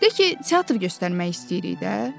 De ki, teatr göstərmək istəyirik də.